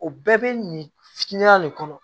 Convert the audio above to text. O bɛɛ bɛ nin fitinin de kɔnɔ